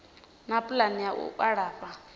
na pulani ya u alafha